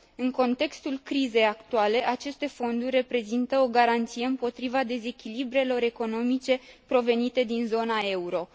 În contextul crizei actuale, aceste fonduri reprezintă o garanție împotriva dezechilibrelor economice provenite din zona euro.